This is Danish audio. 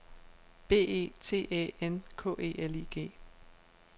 B E T Æ N K E L I G